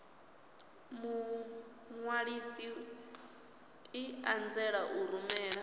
muṅwalisi i anzela u rumela